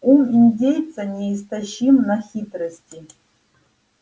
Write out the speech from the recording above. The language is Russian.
ум индейца неистощим на хитрости